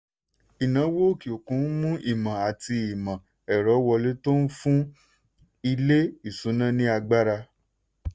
ìnáwó òkè òkun ń mú ìmọ̀ àti àti ìmọ̀ ẹ̀rọ wọlé tó ń fún ilé-ìṣúnná ní agbára.